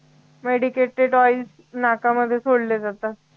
medicated oil नाकामध्ये सोडले जात